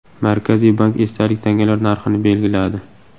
Markaziy bank esdalik tangalar narxini belgiladi.